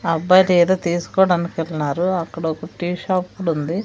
ఆ అబ్బాయిదేదో తీసుకోవడానికి యెల్నారు అక్కడ ఒకటి షాప్ కుడుంది.